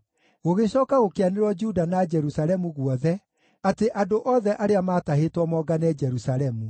Gũgĩcooka gũkĩanĩrĩrwo Juda na Jerusalemu guothe atĩ andũ othe arĩa maatahĩtwo mongane Jerusalemu.